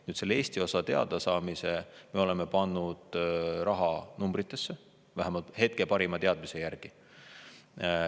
Nüüd, selle Eesti osa me oleme pannud rahanumbritesse, vähemalt hetke parima teadmise järgi.